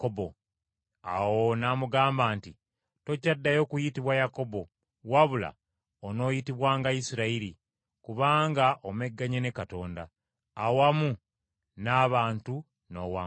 Awo n’amugamba nti, “Tokyaddayo kuyitibwa Yakobo. Wabula onooyitibwanga Isirayiri, kubanga omegganye ne Katonda, awamu n’abantu n’owangula.”